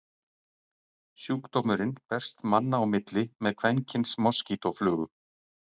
Sjúkdómurinn berst manna á milli með kvenkyns moskítóflugum.